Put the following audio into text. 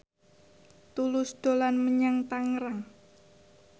Tulus dolan menyang Tangerang